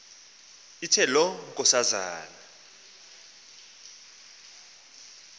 ithe loo nkosana